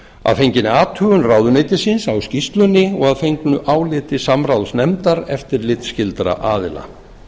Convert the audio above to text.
að fenginni athugun ráðuneytisins á skýrslunni og að fengnu áliti samráðsnefndar eftirlitsskyldra aðila